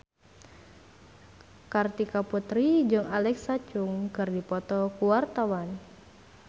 Kartika Putri jeung Alexa Chung keur dipoto ku wartawan